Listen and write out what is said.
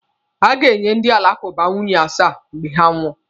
A ga-enye ndị alakụba nwunye asaa mgbe ha nwụọ.